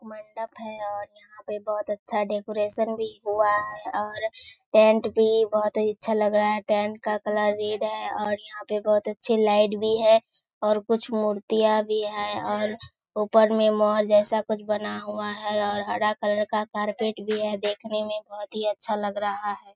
मंडप है और यहाँ पे बहुत अच्‍छा डेकोरेशन भी हुआ है और टेंट भी बहुत अच्‍छा लग रहा है टेंट का कलर रेड है और यहाँ पे बहुत अच्‍छी लाईट भी है और कुछ मूर्तियाँ भी है और ऊपर में मॉल जैसा कुछ बना हुआ है और हरा कलर का कारपेट भी है देखने में बहुत हीं अच्‍छा लग रहा है।